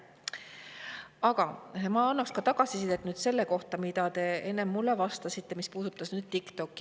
Aga ma annaksin ka tagasisidet selle kohta, mida te enne mulle vastasite, mis puudutas TikTokki.